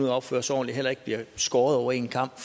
at opføre sig ordentligt heller ikke bliver skåret over en kam